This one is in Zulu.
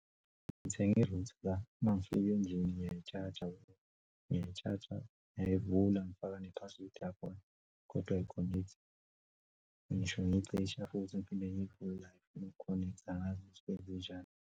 Ngithenge i-router, mangifika endlini ngiyayi-charge-a, ngiyayivula ngifaka ne-password yakhona kodwa ayi-connect-i. Ngisho ngiyicisha futhi ngiphinde ngiyivule ayi-connect-i, angazi kwenzenjani.